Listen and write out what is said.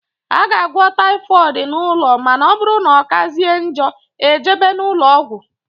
A ga - agwọ typhooid n' ụlọ ma na ọbụrụ na ọkazie njọ ejebe n' ulọọgwu.